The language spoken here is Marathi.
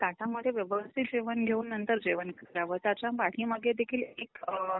ताटामध्ये व्यवस्थित जेवण घेऊन नंतर जेवण करावं. त्याच्या पाठीमागे देखील एक अअ